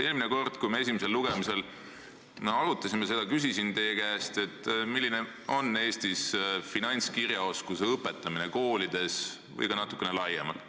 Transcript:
Eelmine kord, kui me esimesel lugemisel arutasime seda eelnõu, ma küsisin teie käest, milline on Eestis finantskirjaoskuse õpetamine koolides või ka natukene laiemalt.